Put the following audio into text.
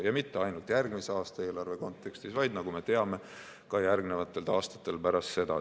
Ja mitte ainult järgmise aasta eelarve kontekstis, vaid nagu me teame, ka järgmistel aastatel pärast seda.